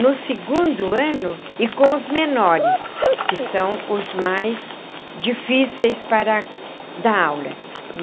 no segundo ano e com os menores, que são os mais difíceis para dar aula.